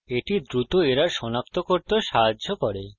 এটি দ্রুত এরর সনাক্ত করতেও সাহায্য করে